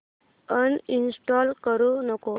uninstall करू नको